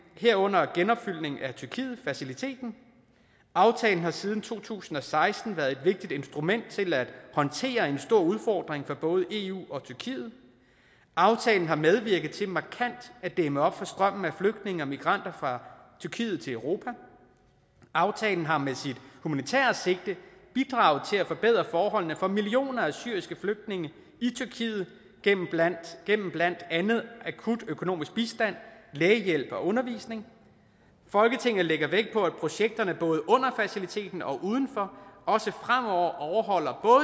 herunder genopfyldning af tyrkiet faciliteten aftalen har siden to tusind og seksten været et vigtigt instrument til at håndtere en stor udfordring for både eu og tyrkiet aftalen har medvirket til markant at dæmme op for strømmen af flygtninge og migranter fra tyrkiet til europa aftalen har med sit humanitære sigte bidraget til at forbedre forholdene for millioner af syriske flygtninge i tyrkiet gennem blandt gennem blandt andet akut økonomisk bistand lægehjælp og undervisning folketinget lægger vægt på at projekterne både under faciliteten og udenfor også fremover overholder